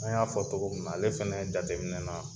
An y'a fɔ tɔgɔ mina ale fɛn jateminɛ na